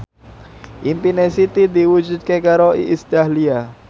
impine Siti diwujudke karo Iis Dahlia